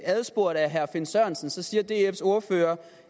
adspurgt af herre finn sørensen siger dfs ordfører